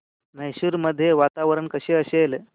मैसूर मध्ये वातावरण कसे असेल